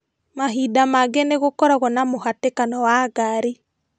Mahinda mangĩ nĩgũkoragwo na mũhatĩkano wa ngari